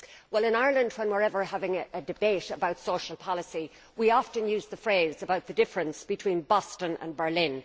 Well, in Ireland whenever we are having a debate about social policy we often use the phrase about the difference between Boston and Berlin.